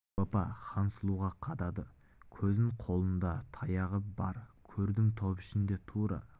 дәу апа хансұлуға қадады көзін қолында таяғы бар көрдім топ ішінде тура